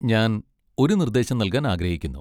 ഞാൻ ഒരു നിർദ്ദേശം നൽകാൻ ആഗ്രഹിക്കുന്നു.